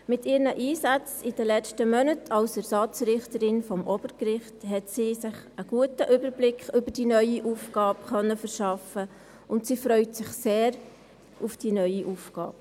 Mit ihren Einsätzen in den letzten Monaten als Ersatzrichterin des Obergerichts hat sie sich einen guten Überblick über die neue Aufgabe verschaffen können und sie freut sich sehr auf die neue Aufgabe.